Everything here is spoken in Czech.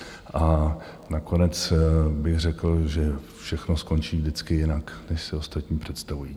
A nakonec bych řekl, že všechno skončí vždycky jinak, než si ostatní představují.